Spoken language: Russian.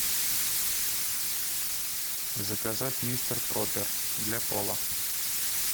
заказать мистер пропер для пола